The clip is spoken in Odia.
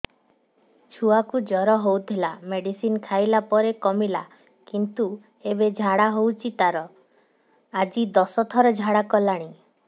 ଛୁଆ କୁ ଜର ହଉଥିଲା ମେଡିସିନ ଖାଇଲା ପରେ କମିଲା କିନ୍ତୁ ଏବେ ଝାଡା ହଉଚି ତାର ଆଜି ଦଶ ଥର ଝାଡା କଲାଣି